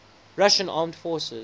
russian armed forces